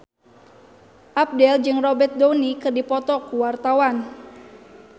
Abdel jeung Robert Downey keur dipoto ku wartawan